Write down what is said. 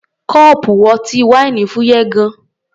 Kọ́ọ̀pù ọtí wáìnì fúyẹ́ gan-an.